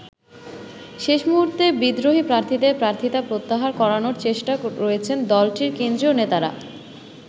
শেষ মুহুর্তে বিদ্রোহী প্রার্থীদের প্রার্থিতা প্রত্যাহার করানোর চেষ্টায় রয়েছেন দলটির কেন্দ্রীয় নেতারা।